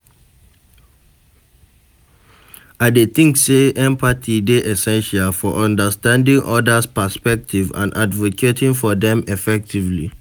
I dey think say empathy dey essential for understanding odas perspectives and advocating for dem effectively.